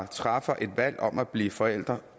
træffer et valg om at blive forældre